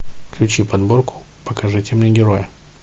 включи подборку покажите мне героя